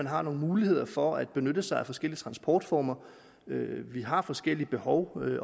har nogle muligheder for at benytte sig af forskellige transportformer vi har forskellige behov